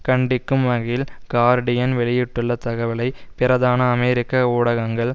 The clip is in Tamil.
கண்டிக்கும் வகையில் கார்டீயன் வெளியிட்டுள்ள தகவலை பிரதான அமெரிக்க ஊடகங்கள்